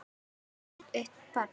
Eiga þau eitt barn.